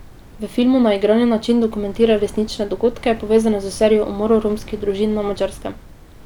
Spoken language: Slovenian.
V filmu na igrani način dokumentira resnične dogodke, povezane s serijo umorov romskih družin na Madžarskem.